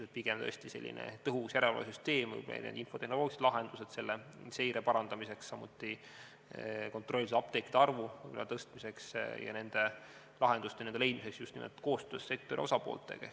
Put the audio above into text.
Pigem võiks olla tõesti selline tõhus järelevalvesüsteem, meil on ka infotehnoloogilised lahendused seire parandamiseks, samuti kontrollitud apteekide arvu tõstmiseks ja nende lahenduste leidmiseks just nimelt koostöös sektori osapooltega.